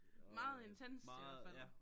Meget intenst i hvert fald